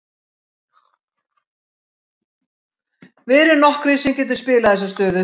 Við erum nokkrir sem getum spilað þessa stöðu.